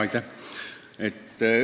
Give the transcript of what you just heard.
Aitäh!